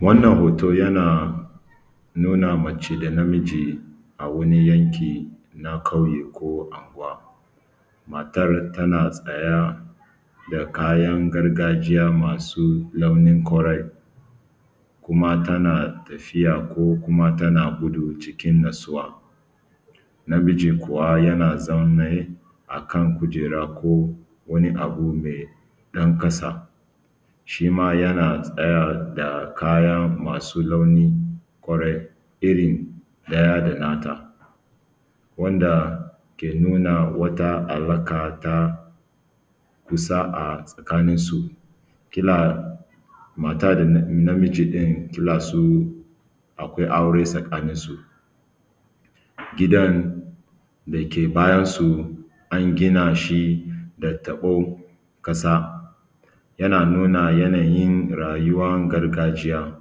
Wannan hoto yana nuna mace da na miji a wani yanki na ƙauye ko anguwa matar tana sanya da kayan gargajiya masu launin kore kuma tana tafiya ko kuma tana gudu cikin natsuwa, namijin kuma yana zaune akan kujera koko a guru me ɗan ƙasa shi ma ya sanya da kayan masu launin kore irin ɗaya da nata da ke nuna wata alaƙa ta kusa a tsakaninsu, kila mata da na miji ne kila su akwai aure tsakaninsu. Gidan da ke bayan su a gina shi da taɓo, ƙasa yana nuna yanayin rayuwan gargajiya,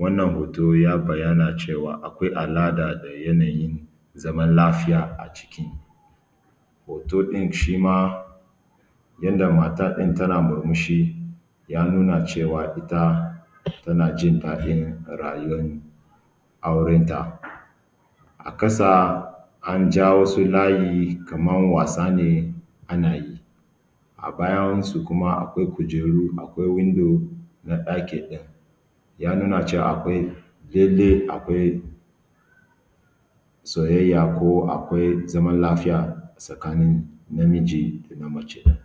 wannan hoto ya bayyana cewa akwai alaƙa da yanayin zaman lafiya a ciki hoto ɗin shi ma yana da mata ɗin tana murmushi ya nuna cewa ita ma ɗin tana jin dadin rayuwan aurenta. A ƙasa an ja wasu layi kaman wasa ne ana yi a bayansu kuma akwai kujeru, akwai windo na ɗaki in ya nuna cewa akwai kyelle, akwai soyayya ko akwai zaman lafiya tsakanin na miji da na mace ɗin.